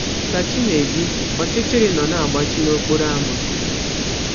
Ka chi na - eji, ọchịchịrị nọ na - agbachi n’ọkpọrọ ámá.